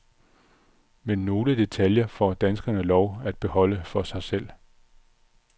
Men nogle detaljer får danskerne lov at beholde for sig selv.